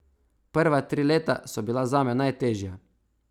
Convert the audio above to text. Prva tri leta so bila zame najtežja.